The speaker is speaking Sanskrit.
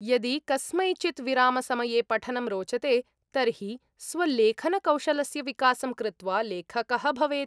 यदि कस्मैचित् विरामसमये पठनं रोचते तर्हि स्वलेखनकौशलस्य विकासं कृत्वा लेखकः भवेत्।